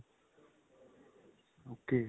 ok.